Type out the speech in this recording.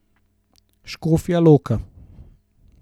Škofja Loka.